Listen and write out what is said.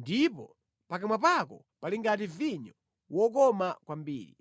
ndipo pakamwa pako pali ngati vinyo wokoma kwambiri.